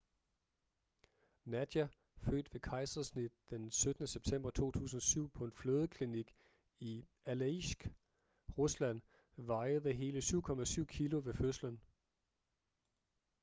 nadia født ved kejsersnit den 17. september 2007 på en fødeklinik i alejsk rusland vejede hele 7,7 kilo ved fødslen